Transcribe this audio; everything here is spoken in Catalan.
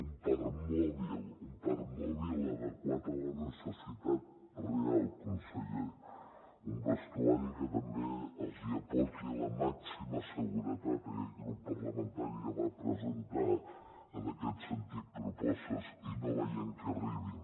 un parc mòbil adequat a la necessitat real conseller un vestuari que també els aporti la màxima seguretat aquest grup parlamentari ja va presentar en aquest sentit propostes i no veiem que arribin